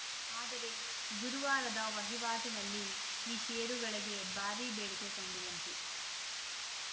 ಆದರೆ ಗುರುವಾರದ ವಹಿವಾಟಿನಲ್ಲಿ ಈ ಷೇರುಗಳಿಗೆ ಭಾರಿ ಬೇಡಿಕೆ ಕಂಡುಬಂತು